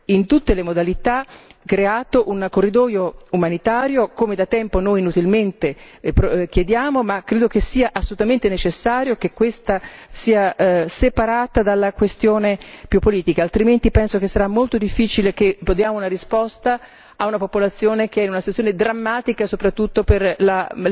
in tutte le modalità, creato un corridoio umanitario, come da tempo noi inutilmente chiediamo, ma credo che sia assolutamente necessario che questa sia separata dalla questione più politica, altrimenti penso che sarà molto difficile che diamo una risposta a una popolazione che è in una situazione drammatica, soprattutto per la